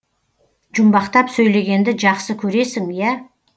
жұмбақтап сөйлегенді жақсы көресің ия